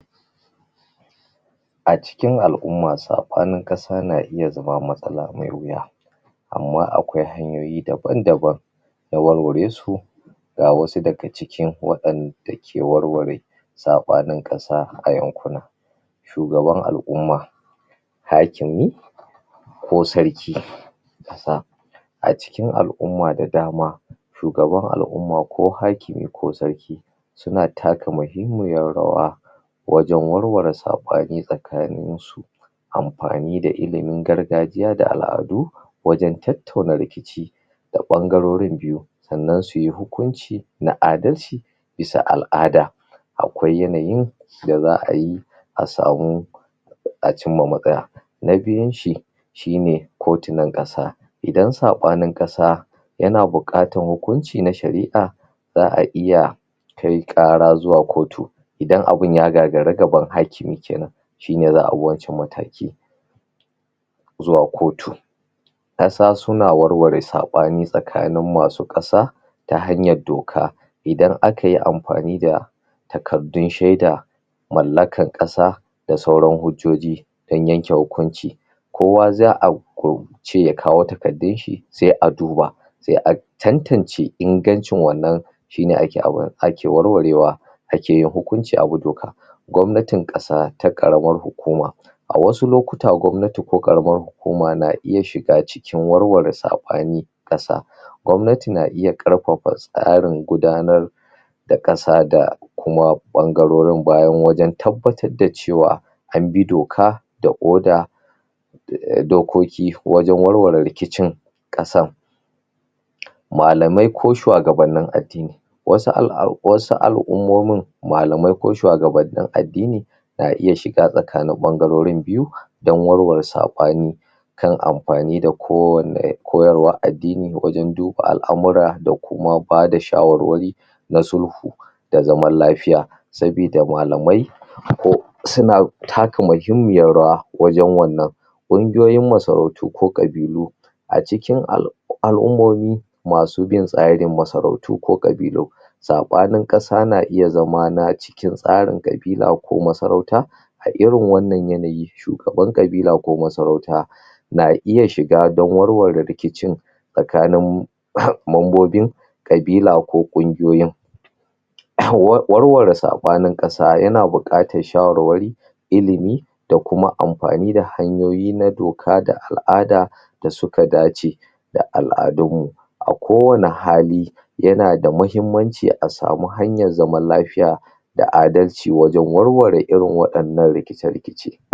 A cikin al'umma saɓanin ƙasa na iya zama matsala mai wuya amma akwai hanyoyi dam-daban na warware su ga wasu daga cikin waɗanda ke warware saɓanin ƙasa a yankuna. Shugaban al'umma. Hakimi ko Sarki kusan a cikin al'umma da dama Shugaban al'umma ko hakimi ko sarki suna taka muhimmiyar rawa wajen warware saɓani tsakanin amfani da ilimin gargajiya dal'adu wajen tattauna rikici ta ɓangarorin biyu, sannan su yi hukunci na dalci bisa al'ada akwai yanayin da za a bi a samu a cimma matsaya. Na biyunshi tino ko tinon ƙasa. Idan saɓanin ƙasa yana buƙatar hukunci na shari'a don a iya kai ƙara zuwa kotu, idan abu ya gagari gaban hakimi ke nan. shi ne za a bi wancan mataki. zuwa kotu ƙasa suna warware saɓani tsakanin masu ƙasa ta hanyar doka idan aka yi amfani da takaddun shaida mallakar ƙasa da sauran hujjoji don yanke hukunci kowa za a ce ya kawo takardunshi sai a duba sai a tantance ingancin wannan shi ne a ke warwarewa ake yin hukunci a bi doka. Gwamnatin ƙasa ta ƙaramar hukuma A wasu lokta gwamnati ko ƙaramar hukuma na iya shiga cikin warware saɓanin ƙasa, Gwamnati na iya ƙarfafa tsarin gudanar da ƙasa da kuma ɓangagorin bayan tabbatar da cewa an bi doka da oda dokoki wajen warware rikicin ƙasan Malamai ko shuwagabannin addini Wasu al'ummonin malamai ko shuwagabannnin addini na iya shiga tsakanin ɓangarorin biyu dan warware saɓani kai amfani da kowanne koyarwar addini wajen duba al'amura da kuma ba da shawarwari. Na sulhu na zaman lafiya sabida malami akwai suna taka muhimmiyar rwa wajen wannan Ƙungiyoyin masarauto ko ƙabilu a cikin al'ummomi masu bin tsarin masarautu ko ƙabilu Saɓanin ƙasa na iya zama na cikin tsarin ƙabila ko na masarauta A irin wannan yanayi, shugaban ƙabila ko na masarauta na iya shiga don warware rikicin tsakanin membobin ƙabila ko ƙungiyoyi Warware saɓanin ƙasa yana buƙatar shawarwari limi da kuma da kuma amfani da hanyoyi na doka da al'ada da suka dace da al'adunmu. a kowane hali yana da muhimmanci a samu hanyar zaman lafiya da adalci wajen warware irin waɗannan rikice-rikice.